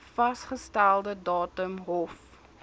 vasgestelde datum hof